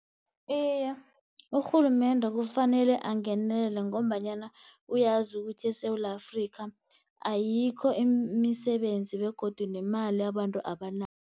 Iye, urhulumende kufanele angenelele, ngombanyana uyazi ukuthi eSewula Afrika ayikho imisebenzi, begodu nemali abantu abanayo.